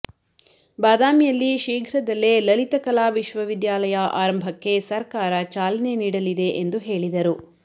ಬಾದಾಮಿಯಲ್ಲಿ ಶೀಘ್ರದಲ್ಲೇ ಲಲಿತ ಕಲಾ ವಿಶ್ವವಿದ್ಯಾಲಯ ಆರಂಭಕ್ಕೆ ಸರ್ಕಾರ ಚಾಲನೆ ನೀಡಲಿದೆ ಎಂದು ಹೇಳಿದರು